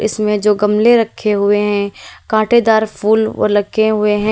इसमें जो गमले रखे हुए हैं कांटेदार फूल और लगे हुए हैं।